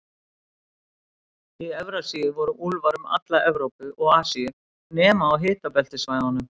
Í Evrasíu voru úlfar um alla Evrópu og Asíu, nema á hitabeltissvæðunum.